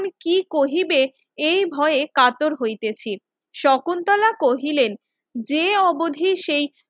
কি কহিবে এই ভয়ে কাতর হইতেছি শকুন্তলা কহিলেন যে অবধি সেই